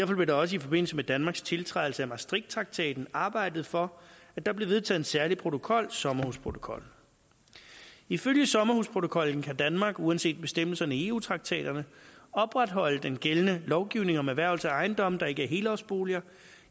blev der også i forbindelse med danmarks tiltrædelse af maastrichttraktaten arbejdet for at der blev vedtaget en særlig protokol sommerhusprotokollen ifølge sommerhusprotokollen kan danmark uanset bestemmelserne i eu traktaterne opretholde den gældende lovgivning om erhvervelse af ejendomme der ikke er helårsboliger